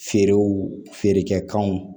Feerew feerekɛ kanw